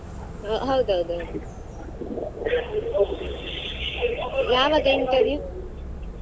ಹೌದೌದು ಯಾವಾಗ interview ?